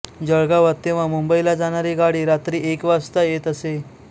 जळगावात तेव्हा मुंबईला जाणारी गाडी रात्री एक वाजता येत असे